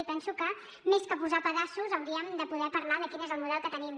i penso que més que posar pedaços hauríem de poder parlar de quin és el model que tenim